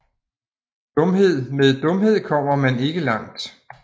Dumhed Med dumhed kommer man ikke langt